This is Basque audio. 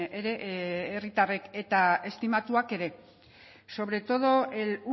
ere herritarrek eta estimatuak ere sobre todo el